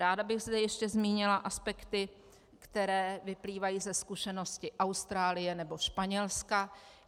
Ráda bych zde ještě zmínila aspekty, které vyplývají ze zkušenosti Austrálie nebo Španělska.